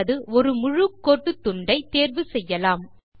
அல்லது ஒரு முழு கோடு துண்டை தேர்வு செய்யலாம்